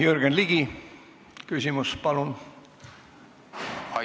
Jürgen Ligi, küsimus, palun!